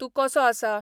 तूंं कसो आसा